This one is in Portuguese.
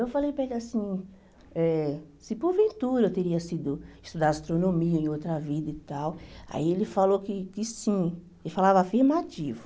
Eu falei para ele assim, eh se porventura eu teria sido estudar astronomia em outra vida e tal, aí ele falou que que sim, ele falava afirmativo.